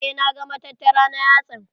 Eh na ga matattara na yatsan.